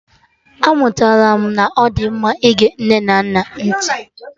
Amụtara m na ọ dị mma ịge nne na nna gị ntị